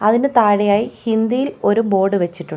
അതിൻ്റെ താഴേയായി ഹിന്ദിയിൽ ഒരു ബോർഡ് വെച്ചിട്ടുണ്ട്.